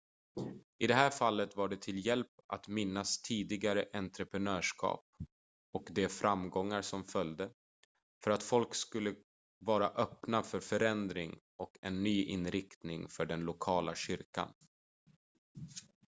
i det här fallet var det till hjälp att minnas tidigare entreprenörskap och de framgångar som följde för att folk skulle vara öppna för förändring och en ny inriktning för den lokala kyrkan